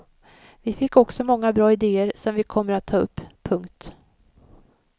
Vi fick också många bra idéer som vi kommer att ta upp. punkt